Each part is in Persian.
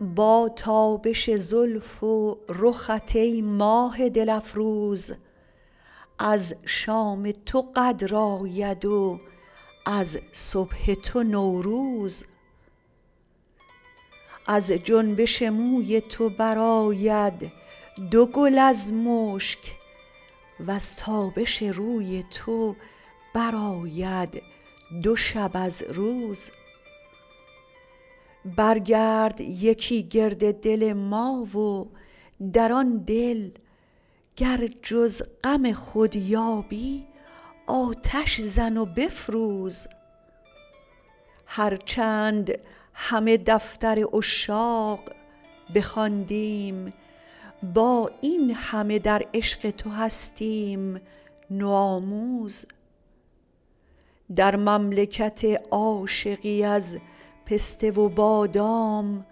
با تابش زلف و رخت ای ماه دل افروز از شام تو قدر آید و از صبح تو نوروز از جنبش موی تو برآید دو گل از مشک وز تابش روی تو برآید دو شب از روز بر گرد یکی گرد دل ما و در آن دل گر جز غم خود یابی آتش زن و بفروز هر چند همه دفتر عشاق بخواندیم با این همه در عشق تو هستیم نوآموز در مملکت عاشقی از پسته و بادام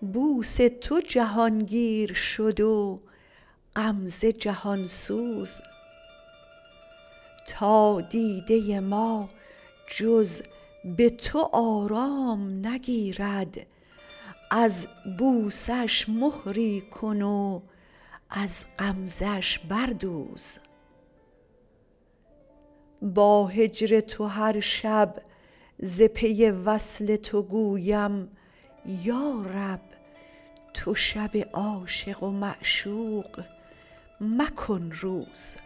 بوس تو جهانگیر شد و غمزه جهانسوز تا دیده ما جز به تو آرام نگیرد از بوسه اش مهری کن وز غمزه اش بردوز با هجر تو هر شب ز پی وصل تو گویم یارب تو شب عاشق و معشوق مکن روز